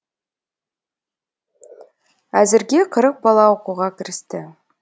әзірге қырық бала оқуға кірісті